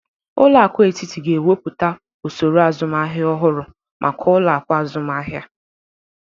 Ụlọaku etiti ga-ewepụta osoro azụmahia ọhụrụ maka ụlọaku azụmahia.